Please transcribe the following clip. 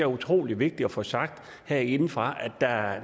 utrolig vigtigt at få sagt herindefra